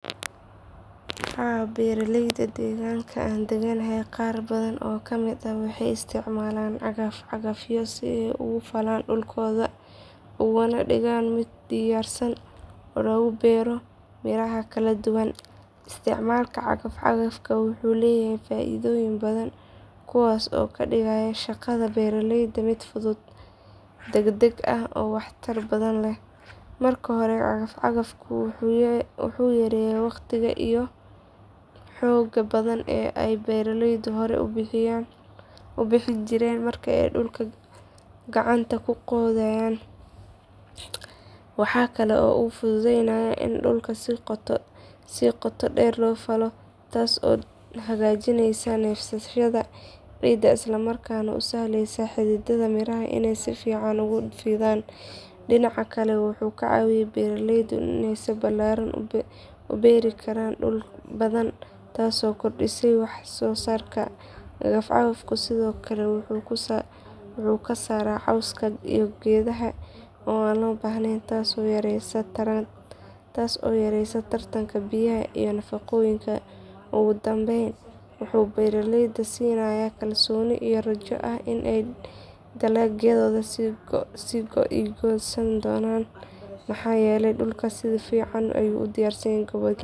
Haa beeraleyda deegaanka aan deganahay qaar badan oo ka mid ah waxay isticmaalaan cagafcagafyo si ay u falaan dhulkooda ugana dhigaan mid diyaarsan oo loogu beero miraha kala duwan. Isticmaalka cagafcagafka wuxuu leeyahay faa’iidooyin badan kuwaas oo ka dhigaya shaqada beeraleyda mid fudud, degdeg ah oo waxtar badan leh. Marka hore cagafcagafku wuxuu yareeyaa waqtiga iyo xoogga badan ee ay beeraleydu hore u bixin jireen marka ay dhulka gacanta ku qodayaan. Waxa kale oo uu fufudaynayaa in dhulka si qoto dheer loo falo taasoo hagaajinaysa neefsashada ciidda isla markaana u sahleysa xididdada miraha inay si fiican ugu fidaan. Dhinaca kale wuxuu ka caawiyaa beeraleyda in ay si ballaaran u beeri karaan dhul badan taasoo kordhinaysa waxsoosaarka. Cagafcagafku sidoo kale wuxuu ka saaraa cawska iyo geedaha aan loo baahnayn taasoo yareynaysa tartanka biyaha iyo nafaqooyinka. Ugu dambeyn wuxuu beeraleyda siinayaa kalsooni iyo rajo ah in dalagyadooda ay soo go’i doonaan si wanaagsan maxaa yeelay dhulkooda si fiican ayuu u diyaar garoobayaa.